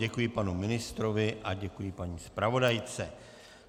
Děkuji panu ministrovi a děkuji paní zpravodajce.